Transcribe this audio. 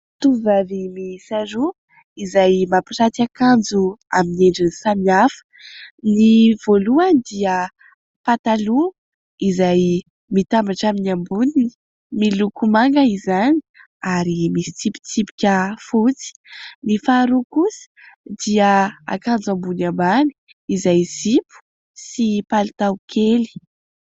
Tovovavy miisa roa izay mampiranty akanjo amin'ny endriny samy hafa : ny voalohany dia pataloha izay mitambatra amin'ny amboniny miloko manga izany ary misy tsipitsipika fotsy, ny faharoa kosa dia akanjo ambony ambany izay zipo sy palitao kely.